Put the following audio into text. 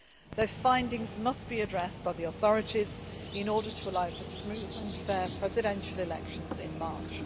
Their findings must be addressed by the authorities in order to allow for smooth and fair presidential elections in March.